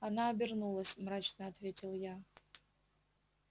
она обернулась мрачно ответил я